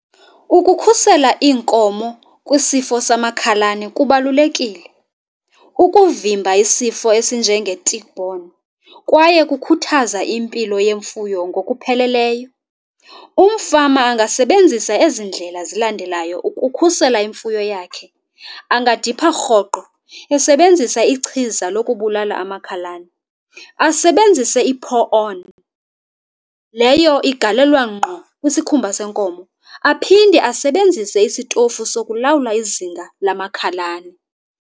Ukukhusela iinkomo kwisifo samakhalane kubalulekile ukuvimba isifo esinjenge-tickborne kwaye kukhuthaza impilo yemfuyo ngokupheleleyo. Umfama angasebenzisa ezi ndlela zilandelayo ukukhusela imfuyo yakhe. Angadipha rhoqo esebenzisa ichiza lokubulala amakhalane, asebenzise i-pour-on. Leyo igalelwa ngqo kwisikhumba senkomo. Aphinde asebenzise isitofu sokulawula izinga lamakhalane.